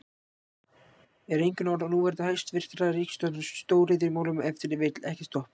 Eru einkunnarorð núverandi hæstvirtrar ríkisstjórnar í stóriðjumálum ef til vill, ekkert stopp?